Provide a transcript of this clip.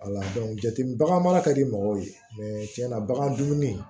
jateminɛ bagan mara ka di mɔgɔw ye tiɲɛna bagan dumuni